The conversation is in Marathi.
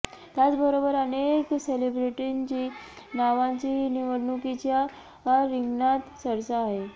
त्याचबरोबर अनेक सेलिब्रेटींची नावांचीही निवडणूकीच्या रिंगणात चर्चा आहे